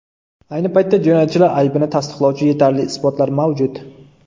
Ayni paytda jinoyatchilar aybini tasdiqlovchi yetarli isbotlar mavjud.